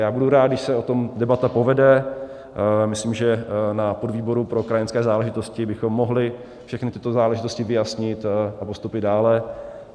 Já budu rád, když se o tom debata povede, myslím, že na podvýboru pro krajanské záležitosti bychom mohli všechny tyto záležitosti vyjasnit a postoupit dále.